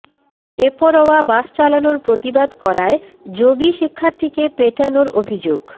বেপরোয়া বাস চালানোর প্রতিবাদ করায় জবি শিক্ষার্থীকে পেটানোর অভিযোগ